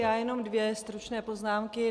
Já jenom dvě stručné poznámky.